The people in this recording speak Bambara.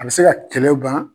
A be se ka kɛlɛ ban .